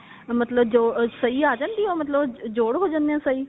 ਮਤਲਬ ਜੋ ਸਹੀ ਆ ਜਾਣਗੇ ਮਤਲਬ ਉਹ ਜੋੜ ਹੋ ਜਾਂਦੇ ਆ ਸਹੀ